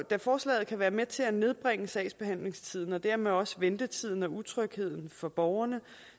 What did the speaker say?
forslaget kan være med til at nedbringe sagsbehandlingstiden og dermed også ventetiden og utrygheden for borgerne